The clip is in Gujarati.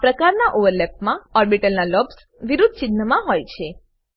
આં પ્રકારના ઓવરલેપમા ઓર્બીટલના લોબ્સ વિરુદ્ધ ચિન્હના હોય છે